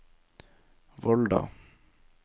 Volda